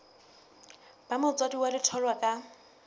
ba motswadi wa letholwa ka